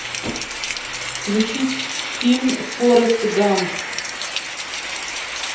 включить фильм форест гамп